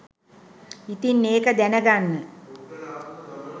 ඉතින් ඒක දැන ගන්න